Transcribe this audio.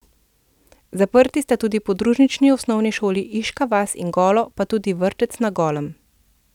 Zaprti sta tudi podružnični osnovni šoli Iška vas in Golo, pa tudi vrtec na Golem.